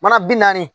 Mana bi naani